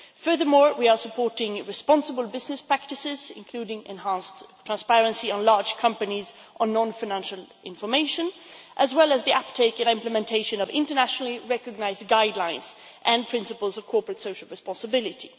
Furthermore, we are supporting responsible business practices, including enhanced transparency for large companies on non financial information, as well as the uptake in implementation of internationally recognised guidelines and principles of corporate social responsibility.